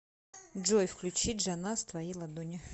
джой включи джаназ твои ладони